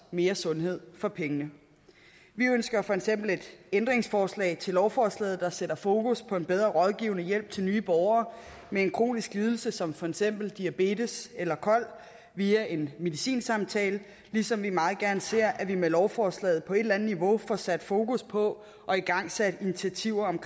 mere sundhed for pengene vi ønsker for eksempel et ændringsforslag til lovforslaget der sætter fokus på en bedre rådgivende hjælp til nye borgere med en kronisk lidelse som for eksempel diabetes eller kol via en medicinsamtale ligesom vi meget gerne ser at vi med lovforslaget på et eller andet niveau får sat fokus på og igangsat initiativer om